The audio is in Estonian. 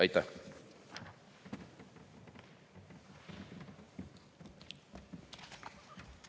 Aitäh!